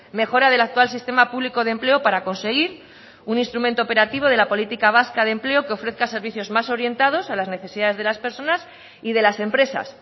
mejora del actual sistema público de empleo para conseguir un instrumento operativo de la política vasca de empleo que ofrezca servicios más orientados a las necesidades de las personas y de las empresas